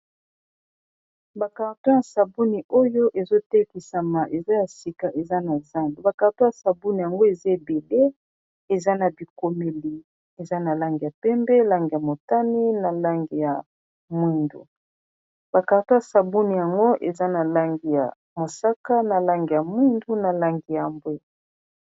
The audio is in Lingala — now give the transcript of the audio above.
bakarto ya sabuni oyo ezotekisama eza ya sika eza na zando bakarto ya sabouni yango eza ebebe eza na bikomeli eza na langi ya pembe langi ya motane na langi ya mwindu bakarto ya sabuni yango eza na langi ya mosaka na langi ya mwindu na langi ya bwe